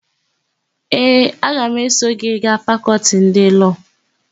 Ee, aga m eso gị gaa Fakọltị ndị Lọọ.